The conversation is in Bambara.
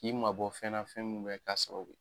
K'i mabɔ fɛnna fɛn min bɛ ka sababu ye.